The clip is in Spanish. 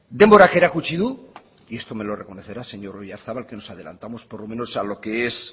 denborak erakutsi du y esto me lo reconocerá señor oyarzabal que nos adelantamos por lo menos a lo que es